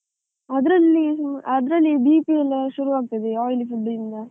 ಅದ್ರಲ್ಲಿ, ಅದ್ರಲ್ಲಿ BP ಎಲ್ಲಾ ಶುರುವಾಗ್ತದೆ, oily food ಇಂದ.